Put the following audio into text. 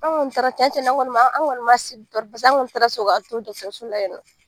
Anw kɔni taara cɛn cɛn na anw kɔni ma, anw kɔni ma paseke anw kɔni taara sɔrɔ so la yen nɔ.